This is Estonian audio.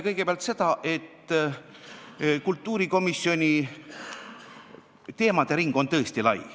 Kõigepealt seda, et kultuurikomisjoni teemade ring on tõesti lai.